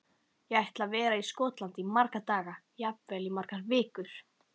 Ég ætla að vera í Skotlandi í marga daga, jafnvel í margar vikur.